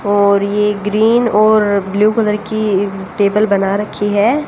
और ये ग्रीन और ब्ल्यू कलर की टेबल बना रखी है।